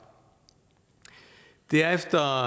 det er efter